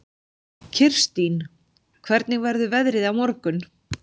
Kirstín, hvernig verður veðrið á morgun?